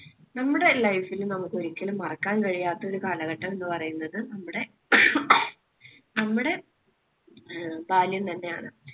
നമ്മുടെ life ല് നമുക്ക് ഒരിക്കലും മറക്കാൻ കഴിയാത്ത ഒരു കാലഘട്ടം എന്ന് പറയുന്നത് നമ്മുടെ നമ്മുടെ ബാല്യം തന്നെയാണ്.